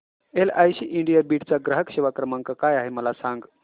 LIC India Beed चा ग्राहक सेवा क्रमांक काय आहे मला सांग